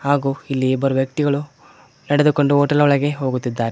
ಹಾಗೂ ಇಲ್ಲಿ ಇಬ್ಬರು ವ್ಯಕ್ತಿಗಳು ನಡೆದುಕೊಂಡು ಹೋಟೆಲ್ ಒಳಗೆ ಹೋಗುತ್ತಿದ್ದಾರೆ.